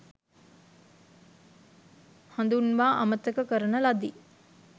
හඳුන්වා අමතක කරන ලදි.